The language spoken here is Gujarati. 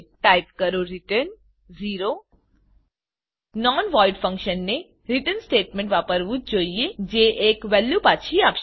ટાઈપ કરો રિટર્ન 0રીટર્ન non વોઇડ નોન વોઈડ ફંક્શને રીટર્ન સ્ટેટમેંટને વાપરવું જ જોઈએ જે એક વેલ્યુ પાછી આપશે